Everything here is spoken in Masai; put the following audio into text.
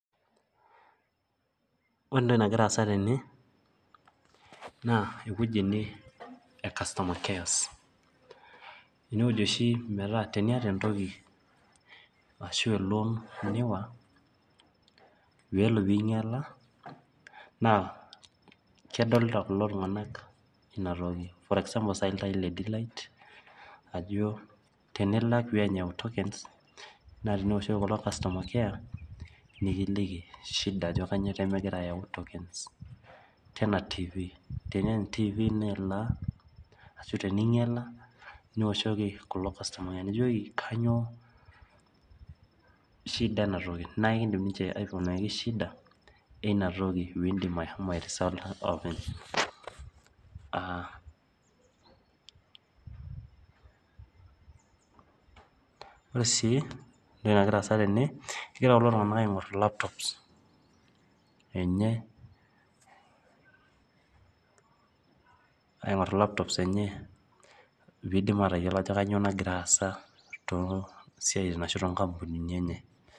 Ore entoki nagira aasa tene, naa ewueji ene e customer cares. Enewueji oshi metaa teniata entoki ashu elon niiwa, pelo pinyala, naa kedolta kulo tung'anak inatoki. For example sai iltaai le D-light, ajo tenilak peeny eyau tokens, naa teniwoshoki kulo customer care, nikiliki shida ajo kanyioo pemegira ayau tokens. Tena Tv. Teneeny tv ino elaa, ashu teninyiala, niwoshoki kulo customer care nijoki, kanyioo shida enatoki. Na ekidim ninche aikunaki shida, eina toki pidim ashomo airisota openy. Ah ore si entoki nagira aasa tene, egira kulo tung'anak aing'or laptops enye, aing'or laptops enye, pidim atayiolo ajo kanyioo nagira aasa tosiaitin ashu tonkampunini enye.